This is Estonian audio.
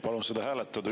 Palun seda hääletada.